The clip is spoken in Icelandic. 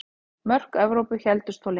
Mörk Evrópu héldust þó lengur.